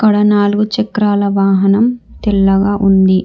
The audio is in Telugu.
ఇక్కడ నాలుగు చక్రాల వాహనం తెల్లగా ఉంది.